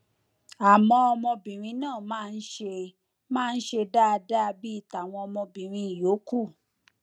àmọ ọmọbìnrin náà máa ń ṣe máa ń ṣe dáadáa bíi tàwọn ọmọbìnrin yòókù